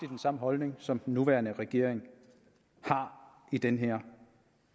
den samme holdning som den nuværende regering har i den her